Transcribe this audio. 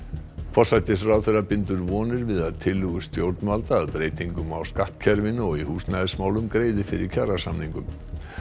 forsætisráðherra bindur vonir við að tillögur stjórnvalda að breytingum á skattkerfinu og í húsnæðismálum greiði fyrir kjarasamningum